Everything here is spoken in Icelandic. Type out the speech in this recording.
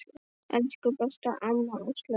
Elsku besta amma Áslaug okkar.